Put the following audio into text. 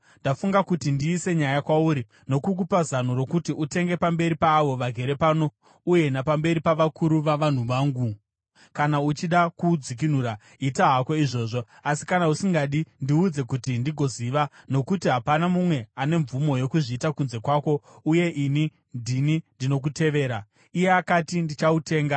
Ndafunga kuti ndiise nyaya kwauri nokukupa zano rokuti utenge pamberi paavo vagere pano uye napamberi pavakuru vavanhu vangu. Kana uchida kuudzikinura, ita hako izvozvo. Asi kana usingadi, ndiudze, kuti ndigoziva. Nokuti hapana mumwe ane mvumo yokuzviita kunze kwako, uye ini ndini ndinokutevera.” Iye akati, “Ndichautenga.”